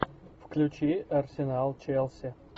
включи арсенал челси